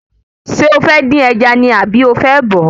Ṣé o fẹ́ dín ẹja ni àbí o fẹ́ bọ̀ọ́?